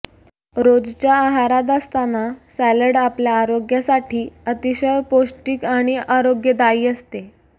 रोजच्या आहारात असताना सॅलड आपल्या आरोग्यासाठी अतिशय पौष्टिक आणि आरोग्यदायी असते